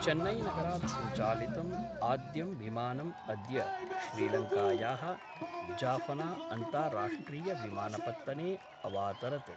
चेन्नैनगरात् सञ्चालितम् आद्यं विमानम् अद्य श्रीलङ्कायाः जाफना अन्ताराष्ट्रियविमानपत्तने अवातरत्।